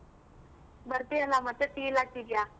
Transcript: ಬರ್ತಿಯಲ್ಲ ಮತ್ತೆ feel ಆಗ್ತಿದ್ಯ.